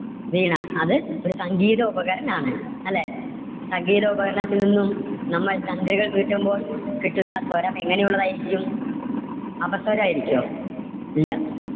വീണ അത് ഒരു സംഗീത ഉപകരണം ആണ്. അല്ലേ? സംഗീത ഉപകരണത്തിൽ നിന്നും നമ്മൾ തന്ത്രികൾ മീട്ടുമ്പോൾ കിട്ടുന്ന സ്വരം എങ്ങനെ ഉള്ളതായിരിക്കും? അപസ്വരം ആയിരിക്കുവോ? അല്ല.